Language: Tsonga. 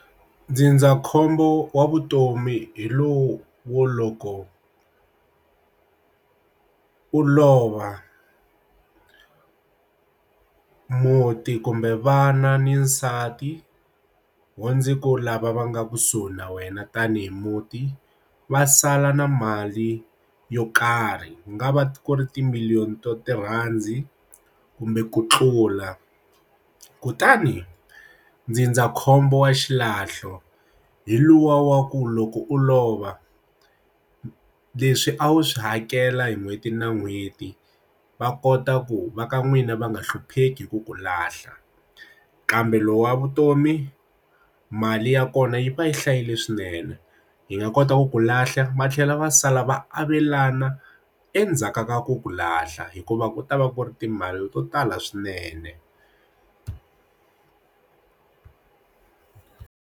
Ndzindzakhombo wa vutomi hi lowu wo loko u lova u muti kumbe vana ni nsati wo ndzi ku lava va nga kusuhi na wena tanihi muti va sala na mali yo karhi ku nga va ku ri timiliyoni to ti rhandzi kumbe ku tlula kutani ndzindzakhombo wa xilahlo hi luwa wa ku loko u lova leswi a wu swi hakela hi n'hweti na n'hweti va kota ku va ka n'wina va nga hlupheki hi ku ku lahla kambe lowu wa vutomi mali ya kona yi va yi hlayile swinene yi nga kota ku ku lahla matlhelo va sala va avelana endzhaku ka ku ku lahla hikuva ku ta va ku ri timali to tala swinene.